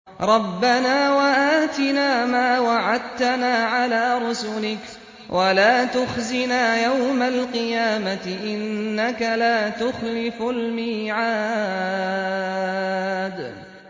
رَبَّنَا وَآتِنَا مَا وَعَدتَّنَا عَلَىٰ رُسُلِكَ وَلَا تُخْزِنَا يَوْمَ الْقِيَامَةِ ۗ إِنَّكَ لَا تُخْلِفُ الْمِيعَادَ